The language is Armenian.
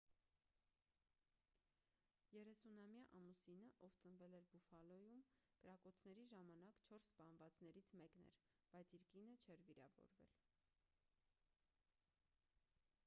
30-ամյա ամուսինը ով ծնվել էր բուֆալոյում կրակոցների ժամանակ չորս սպանվածներից մեկն էր բայց իր կինը չէր վիրավորվել